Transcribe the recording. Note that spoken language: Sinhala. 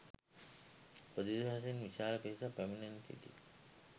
ප්‍රදේශවාසීන් විශාල පිරිසක්‌ පැමිණෙමින් සිටිති.